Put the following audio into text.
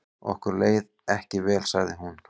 Okkur leið ekki vel sagði hún.